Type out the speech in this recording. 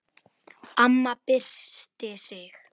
Amma byrsti sig.